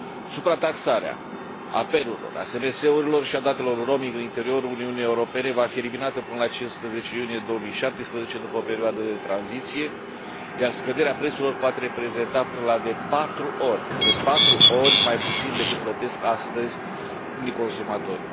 Suprataxarea apelurilor, a SMS urilor, și a datelor în roaming în interiorul Uniunii Europene va fi eliminată până la 15 iunie 2017, după o perioadă de tranziție, iar scăderea prețurilor poate reprezenta până la de 4 ori mai puțin decât plătesc astăzi unii consumatori.